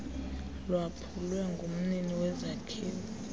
lwaphulwe ngumnini wezakhiwo